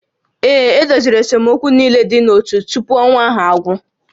Ee, e doziri esemokwu niile dị n'ótú tupu ọnwa ahụ agwụ